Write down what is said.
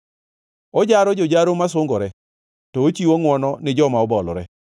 Ojaro jojaro masungore to ochiwo ngʼwono ni joma obolore.